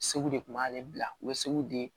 Segu de kun b'ale bila u bɛ segu de